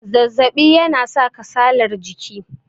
zazzabi yana sa kasalar jiki